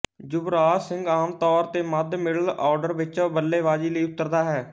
ਯੁਵਰਾਜ ਸਿੰਘ ਆਮ ਤੌਰ ਤੇ ਮੱਧ ਮਿਡਲ ਔਡਰ ਵਿੱਚ ਬੱਲੇਬਾਜ਼ੀ ਲਈ ਉੱਤਰਦਾ ਹੈ